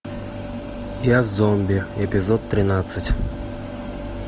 я зомби эпизод тринадцать